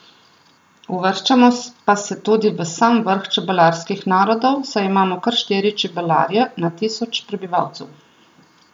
Uvrščamo pa se tudi v sam vrh čebelarskih narodov, saj imamo kar štiri čebelarje na tisoč prebivalcev.